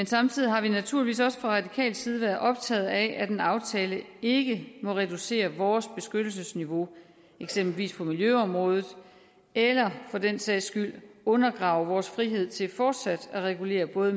samtidig har vi naturligvis også fra radikal side været optaget af at en aftale ikke må reducere vores beskyttelsesniveau eksempelvis på miljøområdet eller for den sags skyld undergrave vores frihed til fortsat at regulere både